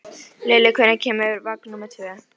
Lilli, hvenær kemur vagn númer tvö?